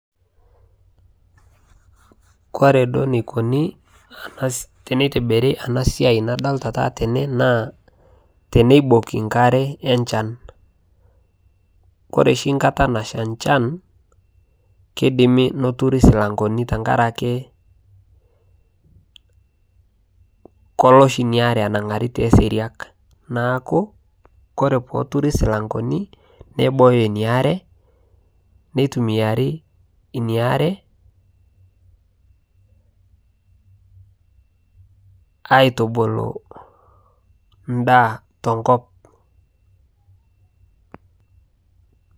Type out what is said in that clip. kore duo neikokonii teneitibirii anaa siai nadolitaa taata tenee naa teneibokii nkaree ee nchan kore shii nkataa nashaa nchan keidimii noturii silankonii tankarakee koloo shii inia aree anangarii tee seriak naaku koree pooturi silankonii neibooyo inia aree neitumiarii inia aree aitubuluu ndaa te nkop